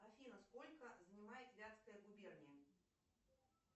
афина сколько занимает вятская губерния